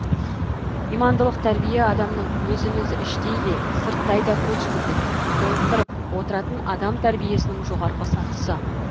имандылық тәрбие адамның өзін өзі іштей де сырттай да көз жүгіртіп толықтырып отыратын адам тәрбиесінің жоғарғы сатысы